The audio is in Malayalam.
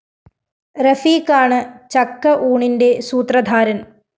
റഫീഖാണ് ചക്ക ഊണിന്റെ സൂത്രധാരന്‍